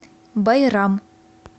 байрам